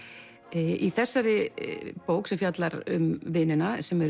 í þessari bók sem fjallar um vinina sem eru